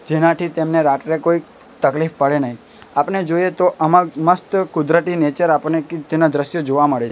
એનાથી તેમને રાત્રે કોઈ તકલીફ પડે નઈ આપણે જોઈએ તો આમાં મસ્ત કુદરતી નેચર આપણને તેના દ્રશ્ય જોવા મળે છે.